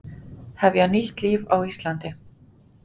Hefja nýtt líf á Íslandi